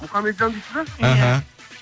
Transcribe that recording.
мұхаммеджан дейсіз бе іхі